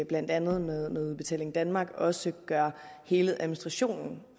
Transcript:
blandt andet med udbetaling danmark også gør hele administrationen